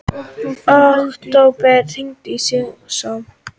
Októ, hringdu í Sigurmon.